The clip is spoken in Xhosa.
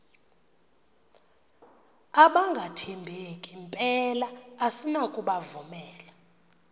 abangathembeki mpela asinakubovumela